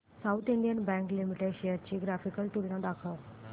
south Indian bank limited shares ची graphical तुलना दाखव